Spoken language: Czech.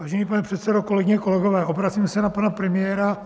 Vážený pane předsedo, kolegyně, kolegové, obracím se na pana premiéra